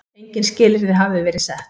Engin skilyrði hafi verið sett.